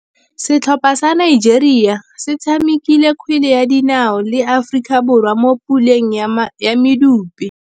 Setlhopha sa Nigeria se tshamekile kgwele ya dinaô le Aforika Borwa mo puleng ya medupe.